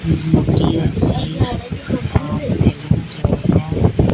ଖିସ୍ ମିସ୍ ଟିଏ ଅଛି ।